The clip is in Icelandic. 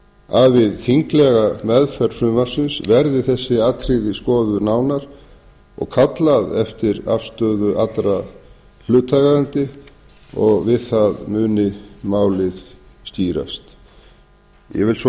að við þinglega meðferð frumvarpsins verði þessi atriði skoðuð nánar og kallað eftir afstöðu allra hlutaðeigandi og við það muni málið skýrast ég vil svo